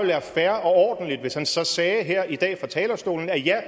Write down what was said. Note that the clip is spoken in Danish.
være fair og ordentligt hvis han så sagde her i dag fra talerstolen at ja